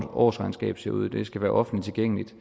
årsregnskab ser ud det skal være offentligt tilgængeligt